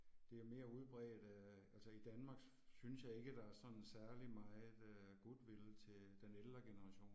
Det er mere udbredt øh altså i Danmark synes jeg ikke der er sådan særlig meget øh goodwill til den ældre generation